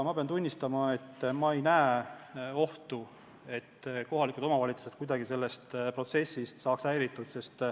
Pean tunnistama, et ma ei näe ohtu, et kohalikud omavalitsused saaksid kuidagi sellest protsessist häiritud.